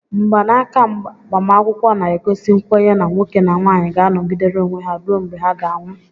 Mgbanaka agbamakwụkwọ na-egosi nkwenye na nwoke na nwanyị ga anogidere onwe ha rue mgbe ha ga anwụ.